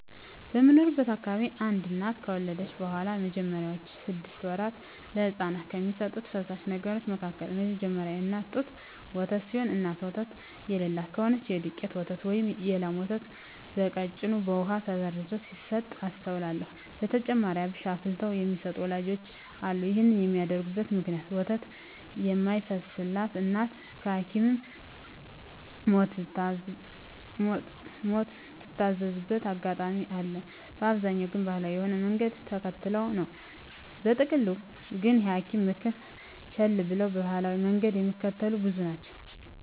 በምኖርበት አካባቢ አንድ እናት ከወለደች በኋላ በመጀመሪያወቹ ስድስት ወራት ለህጻናት ከሚሰጡ ፈሳሽ ነገሮች መካከል የመጀመሪያው የእናት ጡት ወተት ሲሆን እናት ወተት የለላት ከሆነች የዱቄት ወተት ወይም የላም ወተት በቀጭኑ በውሃ ተበርዞ ሲሰጥ አስተውላለው። በተጨማሪም አብሽ አፍልተው የሚሰጡ ወላጆችም አሉ። ይህን የሚያደርጉበት ምክንያት ወተት የማይፈስላት እናት በሀኪምም ምትታዘዝበት አጋጣሚ አለ፤ በአብዛኛው ግን ባሀላዊ የሆነውን መንገድ ተከትለው ነው። በጥቅሉ ግን የሀኪምን ምክር ቸለል ብለው ባሀላዊውን መንገድ ሚከተሉ ብዙ ናቸው።